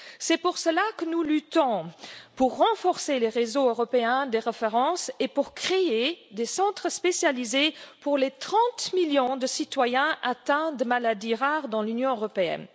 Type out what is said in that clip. C'est pour cela que nous luttons pour renforcer les réseaux européens des références et pour créer des centres spécialisés pour les 30 millions de citoyens atteints de maladies rares dans l'Union européenne.